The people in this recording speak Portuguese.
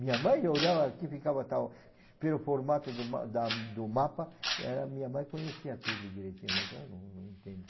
Minha mãe, eu olhava aqui, ficava tal, pelo formato do ma da do mapa, ela minha mãe conhecia tudo direitinho, mas eu não, não entendo.